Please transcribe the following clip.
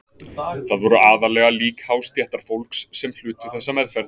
Það voru aðallega lík hástéttarfólks sem hlutu þessa meðferð.